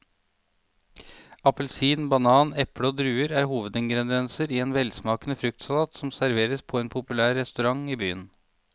Appelsin, banan, eple og druer er hovedingredienser i en velsmakende fruktsalat som serveres på en populær restaurant i byen.